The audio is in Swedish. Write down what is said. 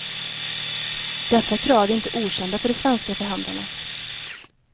Dessa krav är inte okända för de svenska förhandlarna.